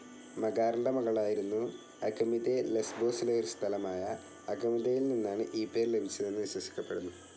മകാറിന്റെ മകളായിരുന്നു അഗമിദെ ലെസ്ബോസിലെ ഒരു സ്ഥലമായ അഗമിദെയിൽനിന്നാണ് ഈ പേര് ലഭിച്ചതെന്ന് വിശ്വസിക്കപ്പെടുന്നു.